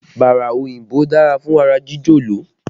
Bára òyìnbó dára fún ara jíjọ̀lọ̀